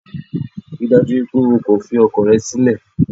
Ríi dájú wípé o kò fi ọkọ rẹ sílẹ̀